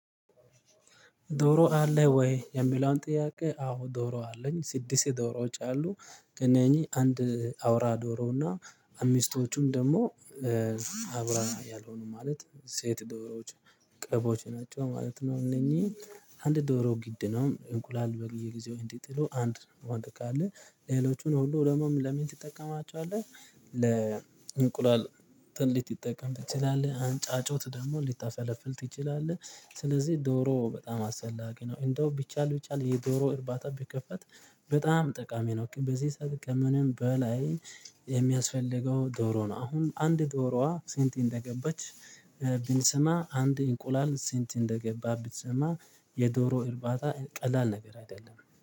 ዶሮ አለህ ወይ? የሚለውን ጥያቄ አዎ ዶሮ አለኝ ስድስት ዶሮዎች አሉ ከእነኚህ አንድ አውራ ዶሮና አምስቶቹም ደግሞ አውራ ያልሆኑ ማለት ሴት ዶሮዎች ቄቦች ናቸው ማለት ነው። እነኚህ አንድ ዶሮ ግድ ነው እንቁላል በየጊዜው እንዲጥሉ አንድ ወንድ አለ። ሌሎቹን ሁሉ ደግሞም ለምን ትጠቀማቸዋለህ? ለእንቁላል ትልቅ ሊጠቀም ትችላለህ አንጫ ጫጩት ደግሞ ልትፈለፍል ትችላለህ። ስለዚህ ዶሮ በጣም አስፈላጊ ነው። እንደው ቢቻል ቢቻል የዶሮ እርባታ ቢከፈት በጣም ጠቃሚ ነው። በዚህ ሰዓት ከምንም በላይ የሚያስፈልገው ዶሮ ነው። አሁን አንድ ዶሮዋ ስንት እንደገባች? ብንስማ አንድ እንቁላል ስንት እንደገባ ብትሰማ? የዶሮ እርባታ ቀላል ነገር አይደለም